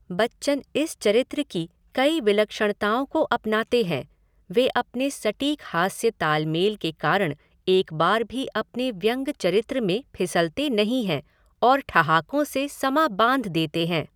बच्चन इस चरित्र की कई विलक्षणताओं को अपनाते हैं, वे अपने सटीक हास्य ताल मेल के कारण एक बार भी अपने व्यंग चरित्र में फिसलते नहीं हैं और ठहाकों से समां बाँध देते हैं।